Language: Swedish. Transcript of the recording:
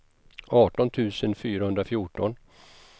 arton tusen fyrahundrafjorton